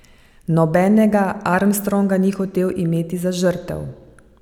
Nobenega Armstronga ni hotel imeti za žrtev.